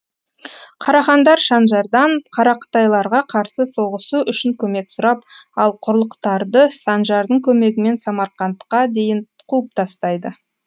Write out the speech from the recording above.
қарахандар санжардан қарақытайларға қарсы соғысу үшін көмек сұрап ал қарлұқтарды санжардың көмегімен самарқандқа дейін қуып тастайды